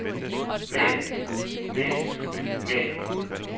men men men